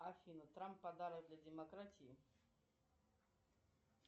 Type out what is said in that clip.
афина трамп подарок для демократии